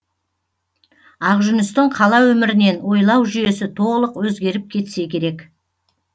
ақжүністің қала өмірінен ойлау жүйесі толық өзгеріп кетсе керек